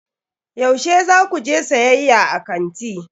Yaushe za ku je siyayya a kanti?